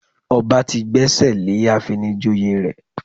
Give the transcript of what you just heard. Ọba ti gbẹ́sẹ̀ lé ìfinijoyè rẹ̀